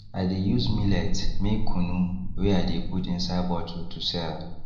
i de use millet make kunu wey i de put inside bottle to sell